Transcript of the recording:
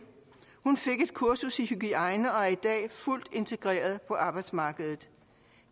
hun fik et kursus i hygiejne og er i dag fuldt integreret på arbejdsmarkedet